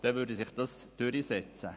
Dann würde sich das durchsetzen.